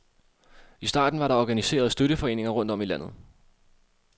I starten var der organiseret støtteforeninger rundt om i landet.